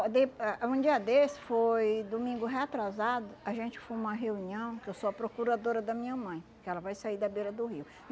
Ah de ah um dia desse, foi domingo reatrasado, a gente foi numa reunião, que eu sou a procuradora da minha mãe, que ela vai sair da beira do rio.